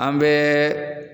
An bɛɛ